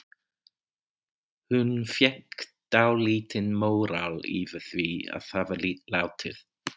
Hún fékk dálítinn móral yfir því að hafa látið